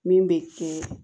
Min bɛ kɛ